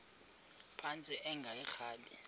phantsi enge lrabi